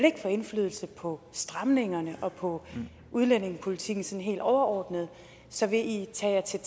få indflydelse på stramningerne eller på udlændingepolitikken sådan helt overordnet så vil i tage